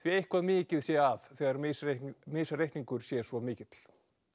að eitthvað mikið sé að þegar misreikningur misreikningur sé svo mikill